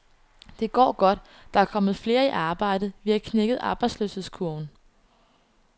Det går godt, der er kommet flere i arbejde, vi har knækket arbejdsløshedskurven.